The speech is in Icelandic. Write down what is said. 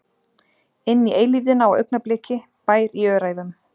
Inn í eilífðina á augnabliki- Bær í Öræfum.